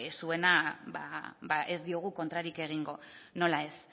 zuena ba ez diogu kontrarik egingo nola ez